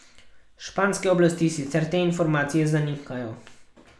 Španske oblasti sicer te informacije zanikajo.